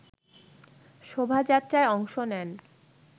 শোভাযাত্রায় অংশ নেন